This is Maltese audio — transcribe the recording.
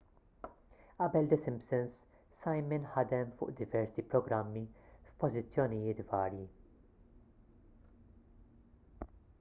qabel the simpsons simon ħadem fuq diversi programmi f'pożizzjonijiet varji